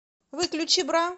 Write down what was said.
выключи бра